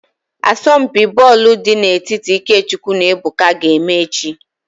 Asọmpi bọọlụ dị n'etiti IkeChukwu na Ebuka ga-eme echi